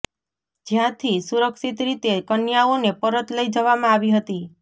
જ્યાંથી સુરક્ષિત રીતે કન્યાઓને પરત લઇ જવામાં આવી હતી